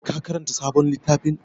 Ka karanta sabon littafin?